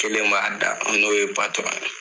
kelen b'a da n'oye patɔrɔn ye